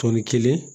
Tɔni kelen